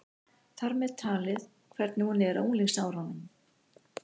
Þar með talið hvernig hún er á unglingsárunum.